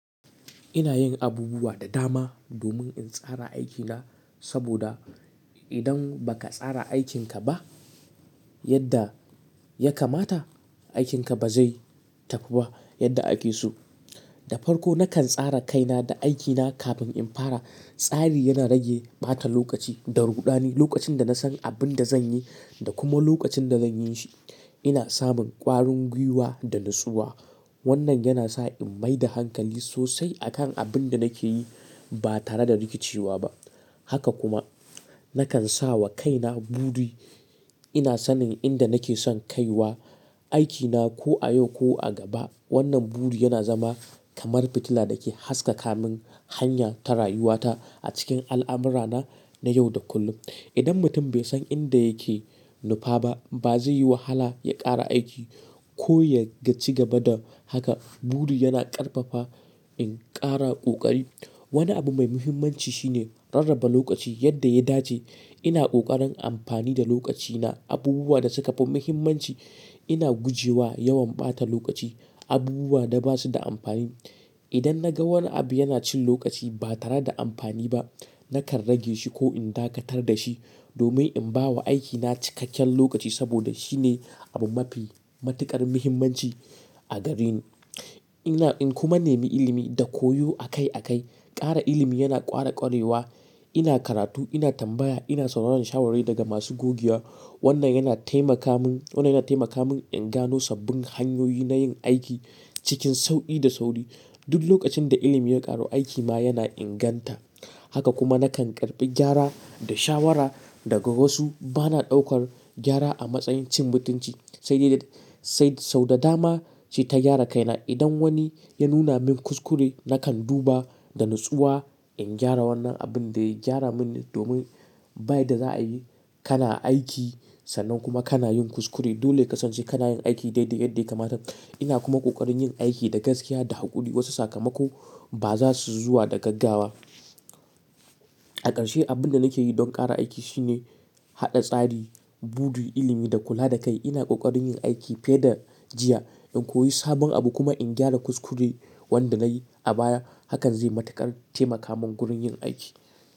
Ina yin abubuwa da dama domin in tsara aikina, saboda idan ba ka tsara aikinka ba, yadda ya kamata, aikinka ba zai tafi ba yadda ake so. Da farko nakan tsara kaina da aikina kafin in fara. Tsari yana rage ɓata lokaci da ruɗani. Lokacin da na san abin da zan yi da kuma lokacin da zan yin shi, ina samun ƙwarin gwiwa da nutsuwa. Wannan yana sa in mai da hankali sosai a kan abin da nake yi ba tare da rikicewa ba. Haka kuma, nakan sa wa kaina buri. Ina sanin inda nake son kai wa aikina ko a yau ko a gaba. Wannan buri yana zama kamar fitila da ke haskaka min hanya ta rayuwata, a cikin al'amurana, na yau da kullum. Idan mutum bai san inda yake nufa ba, ba zai yi wahala ya ƙara aiki ko ya gaci gaba da haka. Buri yana ƙarfafa in ƙara ƙoƙari. Wani abu mai muhimmanci shine, rarraba lokaci yadda ya dace. Ina ƙoƙarin amfani da lokacina. Abubuwa da suka fi muhimmanci ina gujewa yawan ɓata lokaci abubuwa da ba su da amfani. Idan na ga wani abu yana cin lokaci ba tare da amfani ba, nakan rage shi ko in dakatar da shi domin in ba wa aikina cikakken lokaci saboda shine abu mafi matuƙar muhimmanci a gareni. Ina in kuma nemi ilimi da koyo akai akai. Kara ilimi yana ƙara ƙwarewa. Ina karatu, ina tambaya, ina sauraron shawara daga masu gogewa. Wannan yana taimaka min, wannan yana taimaka min in gano sabbin hanyoyi na yin aiki cikin sauƙi da sauri. Duk lokacin da ilimi ya ƙaru, aiki ma yana inganta. Haka kuma nakan karɓi gyara, da shawara daga wasu. Ba na ɗaukar gyara a matsayin cin mutunci, sai dai sai sau da dama suyi ta gyara kaina. Idan wani ya nuna min kuskure, nakan duba da natsuwa in gyara wannan abin da ya gyara min, domin bayan da za a yi, kana aiki sannan kuma kana yin kuskure. Dole ka ƙasance kana yin aiki daidai yadda ya kamata. Ina kuma ƙoƙarin yin aiki da gaskiya da haƙuri. Wasu sakamako ba za su zuwa da gaggawa. A ƙarshe, abin da nake yi don ƙara aiki shine, haɗa tsari, buri, ilimi da kula da kai. Ina ƙoƙarin yin aiki fiye da jiya, in koyi sabon abu kuma in gyara kuskure wanda na yi a baya. Hakan zai matuƙar taimaka min gurin yin aiki.